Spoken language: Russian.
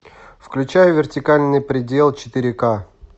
включай вертикальный предел четыре ка